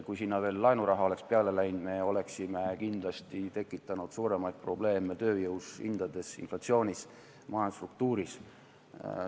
Kui sinna veel laenuraha oleks peale läinud, siis me oleksime kindlasti näinud suuremaid probleeme tööjõu, hindade, inflatsiooni, majandusstruktuuriga.